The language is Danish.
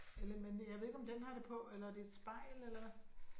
Eller men jeg ved ikke om den har det på eller er det et spejl eller hva